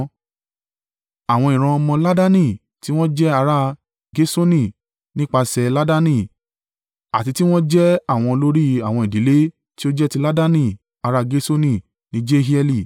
Àwọn ìran ọmọ Laadani tí wọn jẹ́ ará Gerṣoni nípasẹ̀ Laadani àti tí wọn jẹ́ àwọn olórí àwọn ìdílé tí ó jẹ́ ti Laadani ará Gerṣoni ni Jehieli.